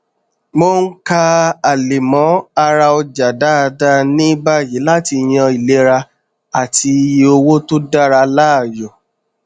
mò n ka àlẹmọ ara ọjà dáadáa ní báyìí láti yan ìlera àti iye owó tó dára láàyò